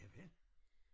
Ja vel